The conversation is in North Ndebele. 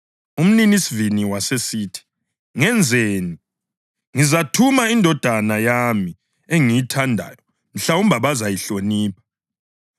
Umninisivini wasesithi, ‘Ngenzeni? Ngizathuma indodana yami engiyithandayo; mhlawumbe bazayihlonipha.’